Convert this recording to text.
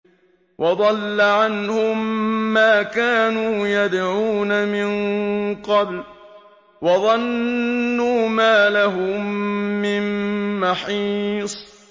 وَضَلَّ عَنْهُم مَّا كَانُوا يَدْعُونَ مِن قَبْلُ ۖ وَظَنُّوا مَا لَهُم مِّن مَّحِيصٍ